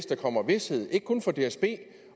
der kommer vished ikke kun for dsb